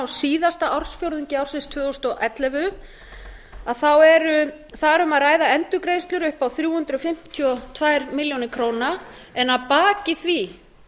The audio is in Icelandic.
síðasta ársfjórðungi ársins tvö þúsund og ellefu þá er þar um að ræða endurgreiðslur upp á þrjú hundruð fimmtíu og tvær milljónir króna en að baki því